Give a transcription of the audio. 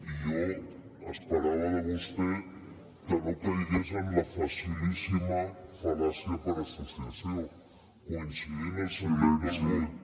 i jo esperava de vostè que no caigués en la facilíssima fal·làcia per associació coincidint el sentit del vot